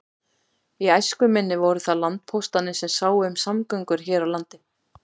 Í æsku minni voru það landpóstarnir sem sáu um samgöngur á landi.